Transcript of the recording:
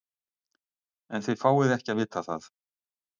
En þið fáið ekki að vita það.